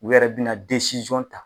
U yɛrɛ bina ta